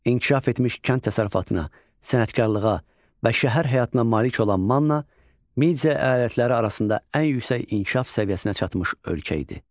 İnkişaf etmiş kənd təsərrüfatına, sənətkarlığa və şəhər həyatına malik olan Manna Media əyalətləri arasında ən yüksək inkişaf səviyyəsinə çatmış ölkə idi.